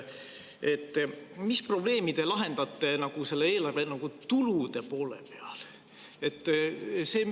Mis probleemi te lahendate eelarve tulude poole peal?